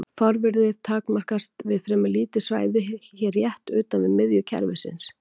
Fárviðrið takmarkast við fremur lítið svæði rétt utan við miðju kerfisins.